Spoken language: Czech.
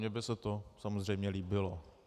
Mně by se to samozřejmě líbilo.